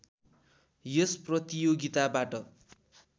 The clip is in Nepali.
यस प्रतियोगिताबाट